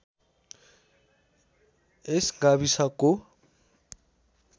यस गाविसको